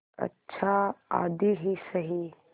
अच्छा आधी ही सही